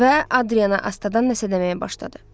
Və Adrianna astadan nəsə deməyə başladı.